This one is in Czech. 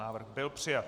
Návrh byl přijat.